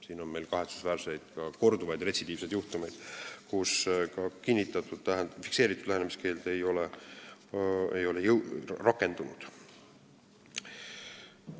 Meil on kahetsusväärselt ka korduvaid, retsidiivseid juhtumeid, kus fikseeritud lähenemiskeeld ei ole rakendunud.